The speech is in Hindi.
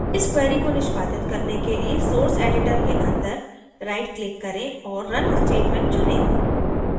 इस query को निष्पादित करने के लिए source editor के अंदर right click करें और run statement चुनें